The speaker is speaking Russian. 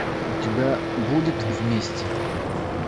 у тебя будет вместе